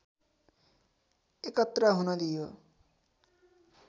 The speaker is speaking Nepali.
एकत्र हुन दियो